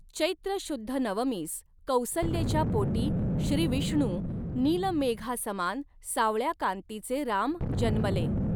चैत्र शुद्ध नवमीस कौसल्येच्या पोटी श्रीविष्णु नीलमेघासमान सांवळ्या कांतीचे राम जन्मले.